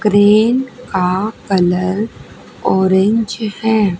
Crane का colour orange है।